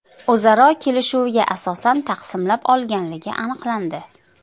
o‘zaro kelishuviga asosan taqsimlab olganligi aniqlandi.